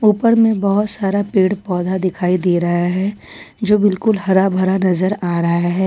ऊपर में बहोत सारा पेड़ पौधा दिखाई दे रहा है जो बिल्कुल हरा भरा नजर आ रहा है।